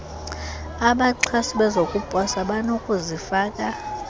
abaxhasi bezokuposa banokuzifaka